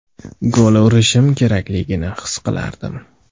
Gol urishim kerakligini his qilardim.